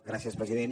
gràcies president